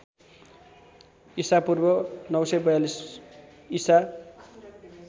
ईपू ९४२ ईसा